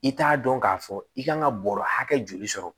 I t'a dɔn k'a fɔ i kan ka bɔrɔ hakɛ joli sɔrɔ